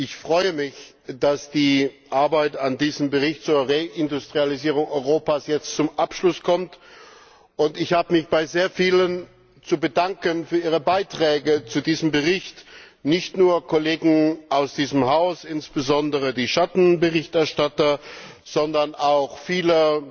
Ich freue mich, dass die Arbeit an diesem Bericht zur Reindustrialisierung Europas jetzt zum Abschluss kommt, und ich habe mich bei sehr vielen zu bedanken für ihre Beiträge zu diesem Bericht. Nicht nur Kollegen aus diesem Haus, insbesondere die Schattenberichterstatter, sondern auch viele